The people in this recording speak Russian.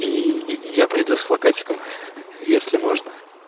ии я приду с плакатиком если можно